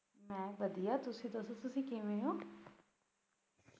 ਬਸ ਵਧੀਆ ਤੁਸੀਂ ਦੱਸੋ ਕਿਵੇਂ ਹੋ?